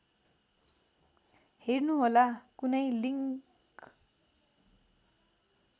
हेर्नुहोला कुनै लिङ्क